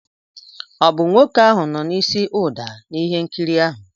Ọ bụ nwoke ahụ nọ n'isi ụda n'ihe nkiri ahụ?